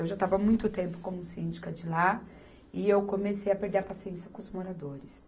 Eu já estava há muito tempo como síndica de lá e eu comecei a perder a paciência com os moradores.